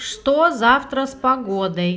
что завтра с погодой